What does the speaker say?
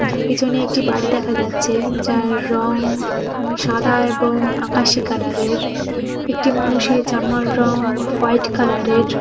পিছনে একটি বাড়ি দেখা যাচ্ছে যার রং সাদা এবং আকাশি কালার এর একটি মানুষের জামার রং হোয়াইট কালার এর।